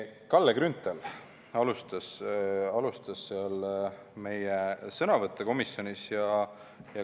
Kalle Grünthal alustas sõnavõtte komisjonis.